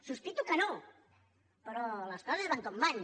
sospito que no però les coses van com van